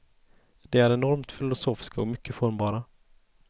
De är enormt filosofiska och mycket formbara.